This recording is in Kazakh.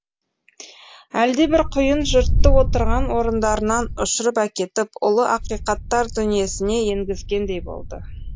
әлдебір құйын жұртты отырған орындарынан ұшырып әкетіп ұлы ақиқаттар дүниесіне енгізгендей болды